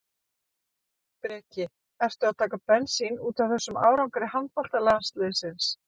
Breki: Ertu að taka bensín útaf þessum árangri handboltalandsliðsins?